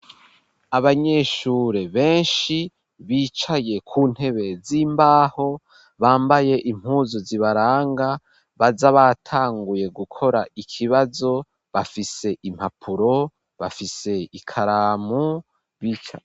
Abanyeshure beshi bicaye ku ntebe z'imbaho bambaye impuzu zibaranga baza batanguye gukora ikibazo bafise impapuro, bafise ikaramu bicaye.